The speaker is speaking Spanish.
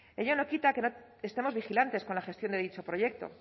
ello no quita que no estemos vigilantes con la gestión de dicho proyecto